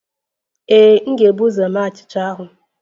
Ee, m ga-ebu ụzọ mee achịcha ahụ